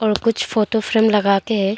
कुछ photo frame लगा के है।